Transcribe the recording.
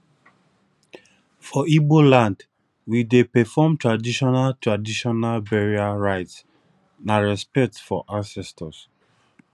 for igbo land we dey perform traditional traditional burial rites na respect for ancestors